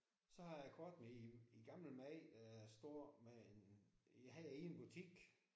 Så har jeg et kort med en en gammel mand der står med en han er i en butik